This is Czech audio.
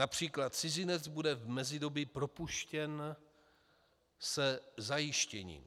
Například cizinec bude v mezidobí propuštěn ze zajištění.